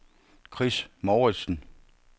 Chris Mouritzen